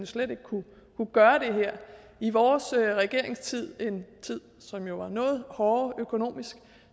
slet ikke kunne gøre det her i vores regeringstid en tid som jo var noget hårdere økonomisk